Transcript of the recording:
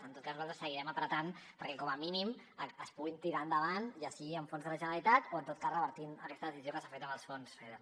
en tot cas nosaltres seguirem apretant perquè com a mínim es puguin tirar endavant ja sigui amb fons de la generalitat o en tot cas revertir aquesta decisió que s’ha fet amb els fons feder